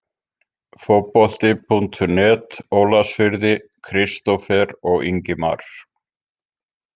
Fótbolti.net Ólafsfirði- Kristófer og Ingimar